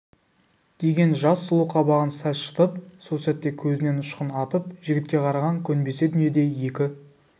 деген жас сұлу қабағын сәл шытып сол сәтте көзінен ұшқын атып жігітке қараған көнбесе дүниеде екі